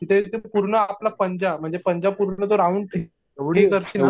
तिथे एकदम पूर्ण आपला पंजा म्हणजे पंजा पूर्ण तो राउंड करशील ना.